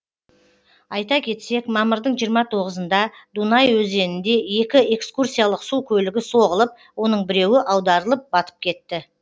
айта кетсек мамырдың жиырма тоғызында дунай өзенінде екі экскурсиялық су көлігі соғылып оның біреуі аударылып батып кетті